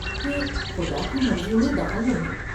کہ خدا کی مرضی میں دخل نہیں ۔